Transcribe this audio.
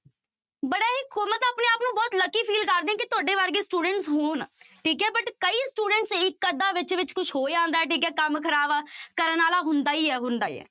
ਬੜਾ ਹੀ ਮੈਂ ਤਾਂ ਆਪਣੇ ਆਪ ਨੂੰ ਬਹੁਤ lucky feel ਕਰਦੀ ਹਾਂ ਕਿ ਤੁਹਾਡੇ ਵਰਗੇ student ਹੋਣ, ਠੀਕ ਹੈ but ਕਈ students ਇੱਕ ਅੱਧਾ ਵਿੱਚ ਵਿੱਚ ਕੁਛ ਹੋ ਜਾਂਦਾ ਹੈ ਠੀਕ ਹੈ ਕੰਮ ਖ਼ਰਾਬ ਕਰਨ ਵਾਲਾ ਹੁੰਦਾ ਹੀ ਹੈ ਹੁੰਦਾ ਹੀ ਹੈ।